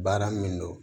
Baara min don